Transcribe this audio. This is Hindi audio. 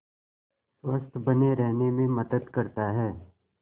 स्वस्थ्य बने रहने में मदद करता है